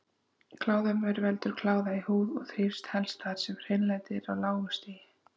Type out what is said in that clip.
Kláðamaur veldur kláða í húð en þrífst helst þar sem hreinlæti er á lágu stigi.